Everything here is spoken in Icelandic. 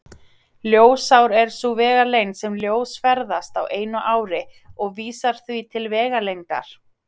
Ljósár er sú vegalengd sem ljós ferðast á einu ári og vísar því til vegalengdar.